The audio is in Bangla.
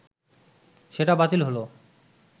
সেটা বাতিল হলো